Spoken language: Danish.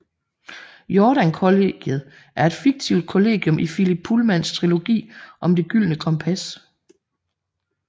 Jordan Kollegiet er et fiktivt kollegium i Philip Pullmans trilogi om Det Gyldne Kompas